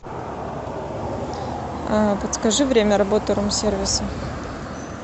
подскажи время работы рум сервиса